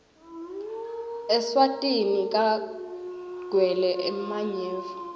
eswatini kagwele emanyeva